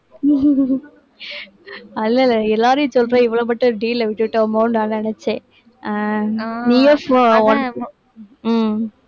இல்லை இல்லை எல்லாரையும் சொல்றேன் இவளை மட்டும் deal அ விட்டுட்டோமோன்னு நான் நினைச்சேன் அஹ் உம்